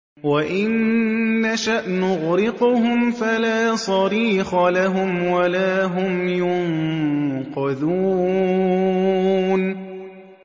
وَإِن نَّشَأْ نُغْرِقْهُمْ فَلَا صَرِيخَ لَهُمْ وَلَا هُمْ يُنقَذُونَ